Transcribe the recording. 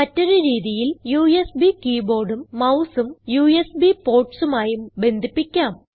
മറ്റൊരു രീതിയിൽ യുഎസ്ബി keyboardഉം mouseഉം യുഎസ്ബി portsമായും ബന്ധിപ്പിക്കാം